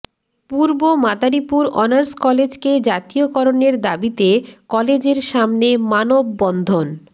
পূর্ব মাদারীপুর অর্নাস কলেজকে জাতীয়করণের দাবিতে কলেজের সামনে মানববন্ধন